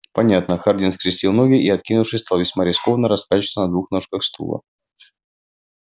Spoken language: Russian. понятно хардин скрестил ноги и откинувшись стал весьма рискованно раскачиваться на двух ножках стула